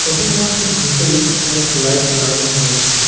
Shopping মলটির ভিতরে অনেক লাইট লাগানো হয়েছে।